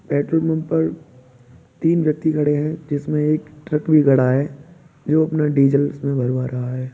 Petrol pump पर तीन व्यक्ति खड़े हैं जिसमें एक ट्रक भी खड़ा है जो अपना डीजल इसमें भरवा रहा है।